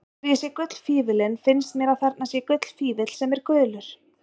Þegar ég sé gullfífillinn finnst mér að þarna sé gullfífill sem er gulur.